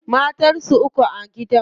Matan sa uku a gidan.